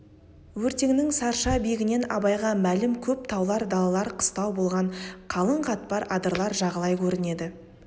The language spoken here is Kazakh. өртеңнің сарша биігінен абайға мәлім көп таулар далалар қыстау болған қалың қатпар адырлар жағалай көрінеді